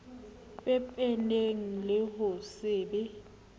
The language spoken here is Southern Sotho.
pepeneng le ho se be